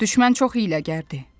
Düşmən çox hiyləgərdir.